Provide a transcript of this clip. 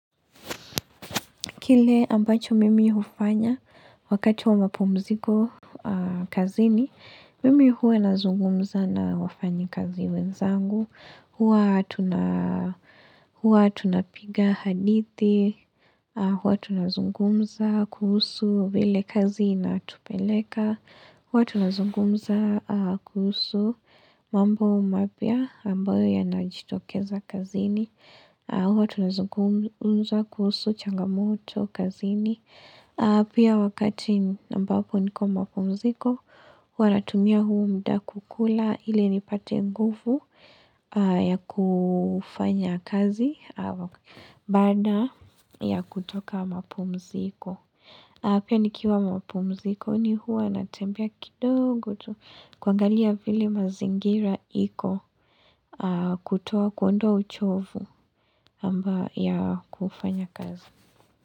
Kile ambacho mimi hufanya wakati wa mapumziko kazini, mimi huwa nazungumza na wafanyikazi wenzangu huwa tuna Huwa tunapiga hadithi, huwa tunazungumza kuhusu vile kazi inatupeleka, huwa tunazungumza kuhusu mambo mapya ambayo yanajitokeza kazini. Huwa tunazungumza kuhusu changamoto, kazini. Pia wakati ambapo niko mapumziko, huwa natumia huu muda kukula ili nipate nguvu ya kufanya kazi baada ya kutoka mapumziko. Pia nikiwa mapumzikoni huwa natembea kidogo tu kuangalia vile mazingira iko kutoa kuondoa uchovu amba ya kufanya kazi.